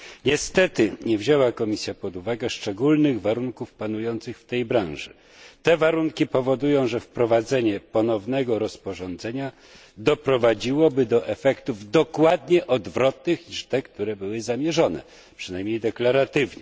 Niestety, nie wzięła Komisja pod uwagę szczególnych warunków panujących w tej branży. Te warunki powodują, że wprowadzenie ponownego rozporządzenia doprowadziłoby do efektów dokładnie odwrotnych niż te, które były zamierzone, przynajmniej w deklaracjach.